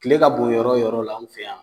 Kile ka bon yɔrɔ yɔrɔ la an fe yan